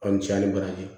Aw ni ce a ni baraji